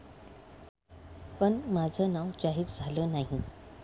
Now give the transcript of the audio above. पण माझं नाव जाहीर झालं नाही.